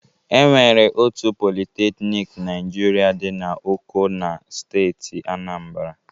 E nwere otu politeknik Naịjirịa dị n'Oko na steeti Aanambara.